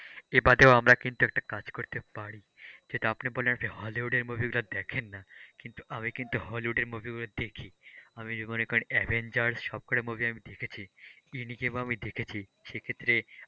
এবাদেও আমরা কিন্তু একটা কাজ করতে পারি যেটা আপনি বললেন যে hollywood movie গুলো দেখেন না কিন্তু আমি কিন্তু hollywood movie দেখি। আমি মনে করেন অ্যাভেঞ্জার সবকটা movie আমি দেখেছি, এন্ডগেম আমি দেখেছি সেক্ষেত্রে,